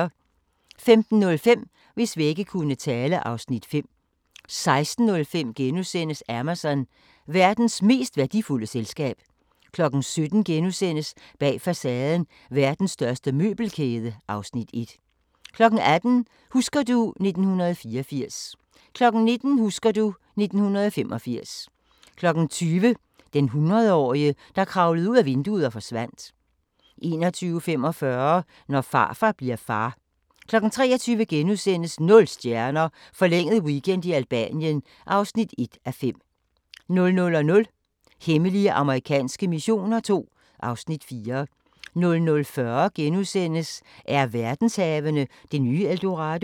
15:05: Hvis vægge kunne tale (Afs. 5) 16:05: Amazon – verdens mest værdifulde selskab * 17:00: Bag facaden: Verdens største møbelkæde (Afs. 1)* 18:00: Husker du ... 1984 19:00: Husker du ... 1985 20:00: Den hundredårige, der kravlede ud ad vinduet og forsvandt 21:45: Når farfar bli'r far 23:00: Nul stjerner – forlænget weekend i Albanien (1:5)* 00:00: Hemmelige amerikanske missioner II (Afs. 4) 00:40: Er verdenshavene det nye El Dorado? *